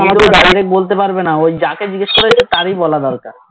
direct বলতে পারবে না ওই যাকে জিগেস করেছো তারই বলা দরকার